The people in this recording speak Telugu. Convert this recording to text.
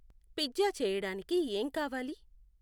పిజ్జా చేయడానికి ఏం కావాలి